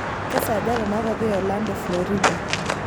kesaaja teinakpo eorlando florida